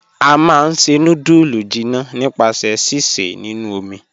A máá n ṣẹ̀ nùdúlù jìnnà nípasẹ̀ síṣẹ̀ nínu omi."